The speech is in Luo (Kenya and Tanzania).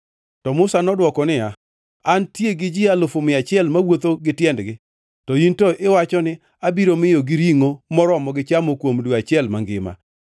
To Musa nodwoko niya, “Antie gi ji alufu mia achiel mawuotho gi tiendgi, to in to iwacho ni, ‘Abiro miyogi ringʼo moromogi chamo kuom dwe achiel mangima!’